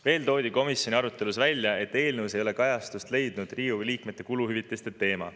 Veel toodi komisjoni arutelus välja, et eelnõus ei ole kajastust leidnud Riigikogu liikmete kuluhüvitiste teema.